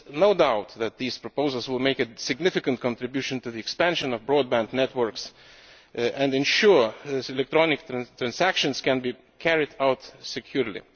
There is no doubt that these proposals will make a significant contribution to the expansion of broadband networks and ensure that electronic transactions can be carried out securely.